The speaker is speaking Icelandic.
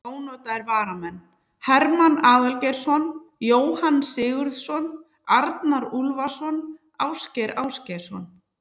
Ónotaðir varamenn: Hermann Aðalgeirsson, Jóhann Sigurðsson, Arnar Úlfarsson, Ásgeir Ásgeirsson.